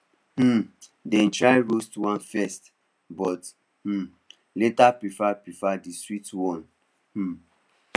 um dem try roasted one first but um later prefer prefer the sweet one um